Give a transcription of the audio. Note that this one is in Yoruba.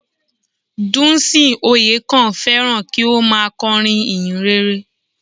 Dùnsìn Oyèkán féràn kí ó má a korin ìhìnrere